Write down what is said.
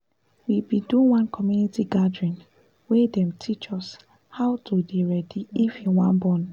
we bin do one community gathering wey wey dem teach us how to de ready if you wan born